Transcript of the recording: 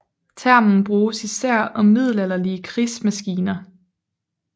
Termen bruges især om middelalderlige krigsmaskiner